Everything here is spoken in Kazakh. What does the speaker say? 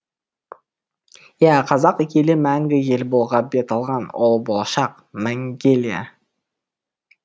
иә қазақ елі мәңгі ел болуға бет алған ол болашақ мәңгелия